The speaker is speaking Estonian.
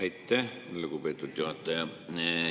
Aitäh, lugupeetud juhataja!